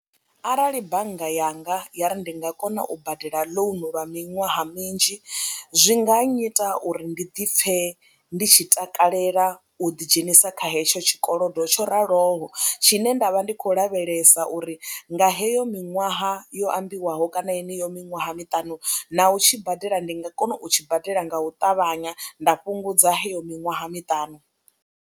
Arali bannga yanga ya ri ndi nga kona u badela ḽounu lwa miṅwaha minzhi zwi nga nnyita uri ndi di pfhe ndi tshi takalela u ḓidzhenisa kha hetsho tshikolodo tsho raloho tshine nda vha ndi khou lavhelesa uri nga heyo miṅwaha yo ambiwaho kana yeneyo miṅwaha miṱanu na u tshi badela ndi nga kona u tshi badela nga u ṱavhanya nda fhungudza heyo miṅwaha miṱanu.